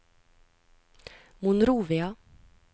Monrovia